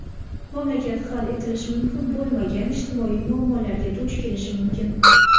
mamlakat hal etilishi mumkin bo‘lmagan ijtimoiy muammolarga duch kelishi mumkin.